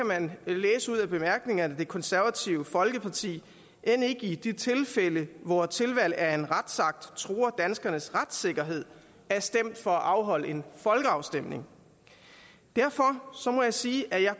man læse ud af bemærkningerne at det konservative folkeparti end ikke i de tilfælde hvor tilvalg af en retsakt truer danskernes retssikkerhed er stemt for at afholde en folkeafstemning derfor må jeg sige at jeg